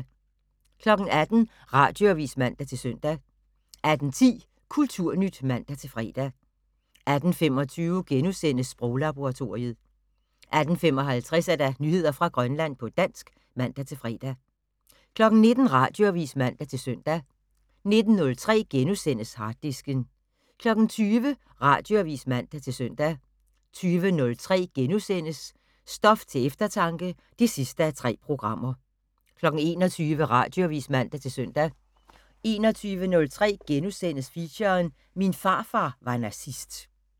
18:00: Radioavis (man-søn) 18:10: Kulturnyt (man-fre) 18:25: Sproglaboratoriet * 18:55: Nyheder fra Grønland på dansk (man-fre) 19:00: Radioavis (man-søn) 19:03: Harddisken * 20:00: Radioavis (man-søn) 20:03: Stof til eftertanke (3:3)* 21:00: Radioavis (man-søn) 21:03: Feature: Min farfar var nazist *